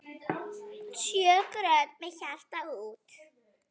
Sjö grönd með hjarta út.